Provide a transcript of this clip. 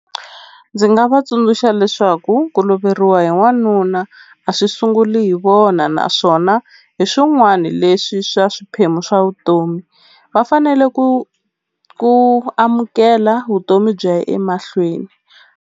Ndzi nga va tsundzuxa leswaku ku loveriwa hi n'wanuna a swi sunguli hi vona naswona hi swin'wani leswi swa swiphemu swa vutomi va fanele ku ku amukela vutomi byi ya emahlweni.